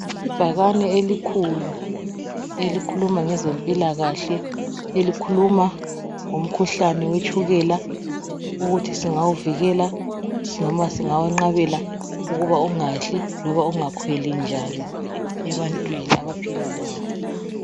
Ibhakane elikhulu elikhuma ngezempilakahle. Elikhuluma ngomkhuhlane wetshukela ukuthi singawuvikela noma singawenqabela ukuba ungehli loba ungakhweli njani ebantwini abaphila lawo.